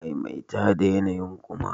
Maimaita da yanayi'n kuma!